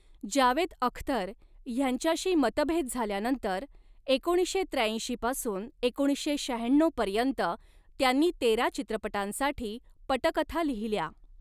जावेद अख्तर ह्यांच्याशी मतभेद झाल्यानंतर, एकोणीसशे त्र्याऐंशी पासून एकोणीसशे शहाण्णऊ पर्यंत त्यांनी तेरा चित्रपटांसाठी पटकथा लिहिल्या.